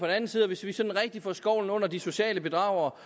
anden side hvis vi sådan rigtig får skovlen under de sociale bedragere